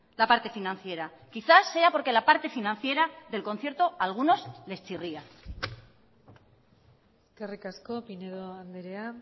la parte financiera quizá sea porque la parte financiera del concierto a algunos les chirría eskerrik asko pinedo andrea